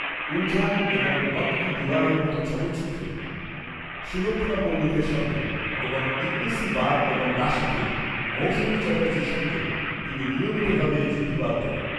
উলঝন' এবং 'ওয়াক্ত কি দিওয়ার'এর মতো চলচ্চিত্রে সুলক্ষণা পণ্ডিতের সঙ্গে এবং 'ইতনি সি বাত' এবং 'দাসী'তে মৌসুমী চ্যাটার্জীর সঙ্গে তিনি নিয়মিতভাবে জুটি বাঁধতেন।